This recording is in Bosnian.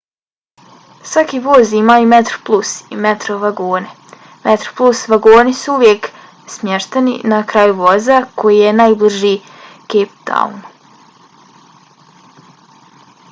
svaki voz ima i metroplus i metro vagone. metroplus vagoni su uvijek smješteni na kraju voza koji je najbliži cape townu